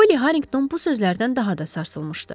Poli Harrington bu sözlərdən daha da sarsılmışdı.